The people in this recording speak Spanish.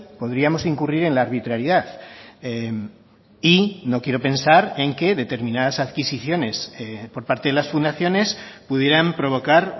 podríamos incurrir en la arbitrariedad y no quiero pensar en que determinadas adquisiciones por parte de las fundaciones pudieran provocar